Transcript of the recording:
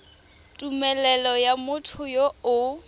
tumelelo ya motho yo o